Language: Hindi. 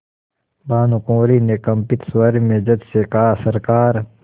भानुकुँवरि ने कंपित स्वर में जज से कहासरकार